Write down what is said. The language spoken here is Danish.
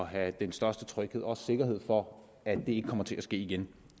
have den største tryghed og også sikkerhed for at det ikke kommer til at ske igen